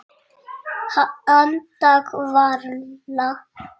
Anda varla.